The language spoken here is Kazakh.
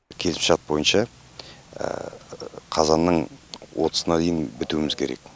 келісімшарт бойынша қазанның отызына дейін бітуіміз керек